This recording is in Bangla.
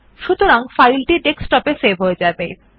সুতরাং ফাইলটি ডেস্কটপে সেভ হয়ে যাবে